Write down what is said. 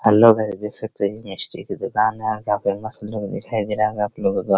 hello guys देख सकते हैं यह मिस्टी की दुकान है और काफी मस्त लुक दिखाई दे रहा होगा आप लोगों को |